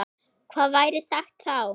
Hvað væri sagt þá?